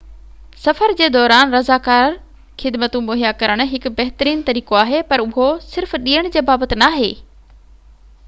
سفر جي دوران رضاڪار خدمتون مهيا ڪرڻ هڪ بهترين طريقو آهي پر اهو صرف ڏيڻ جي بابت ناهي